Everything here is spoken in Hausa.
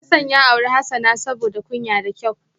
Hasan ya auri Hasana saboda kunya da kyau